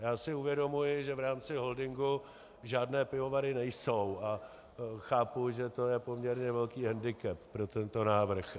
Já si uvědomuji, že v rámci holdingu žádné pivovary nejsou, a chápu, že to je poměrně velký hendikep pro tento návrh.